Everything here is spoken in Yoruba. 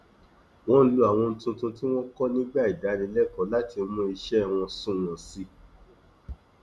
wọn lo àwọn ohun tuntun tí wọn kọ nígbà ìdánilẹkọọ láti mú iṣẹ wọn sunwọn sí i